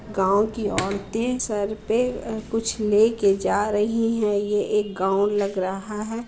गाँव की औरतें सर पे कुछ लेके जा रही हैं। ये एक गाँव लग रहा है।